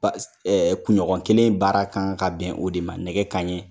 Kunɲɔgɔn kelen baara kan ka bɛn o de ma nɛgɛ kanɲɛ.